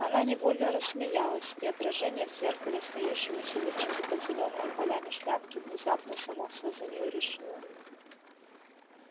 она невольно рассмеялась и отражение в зеркале смеющегося личика под зелёными полями шляпки внезапно само все за нее решило